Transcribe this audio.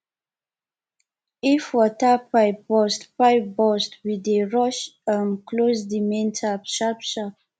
if water pipe burst pipe burst we dey rush um close di main tap sharpsharp